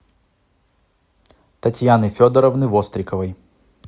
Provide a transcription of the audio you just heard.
татьяны федоровны востриковой